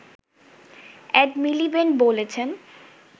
add Miliband বলেছেন